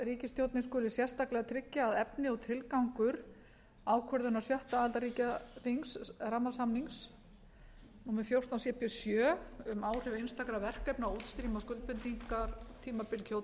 ríkisstjórnin tryggja að efni og tilgangur ákvörðunar sjöunda aðildarríkjaþings rammasamningsins númer fjórtán cp sjö um áhrif einstakra verkefna á útstreymi á skuldbindingartímabili kyoto